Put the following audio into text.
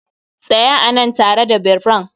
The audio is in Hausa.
Tsaya a nan tare da birran!